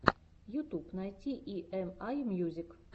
ютуб найти и эм ай мьюзик